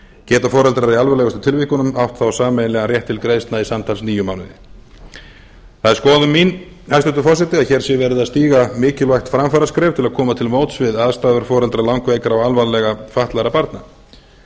geta foreldrar í alvarlegustu tilvikunum átt þá sameiginlegan rétt til greiðslna í samtals níu mánuði það er skoðun en hæstvirtur forseti að hér sé verið að stíga mikilvægt framfaraskref til að koma til móts við aðstæður foreldra langveikra og alvarlega fatlaðra barna